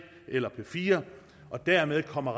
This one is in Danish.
eller p fire og dermed kommer